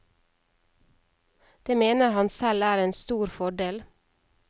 Det mener han selv er en stor fordel.